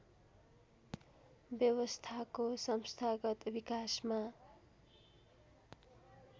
व्यवस्थाको संस्थागत विकासमा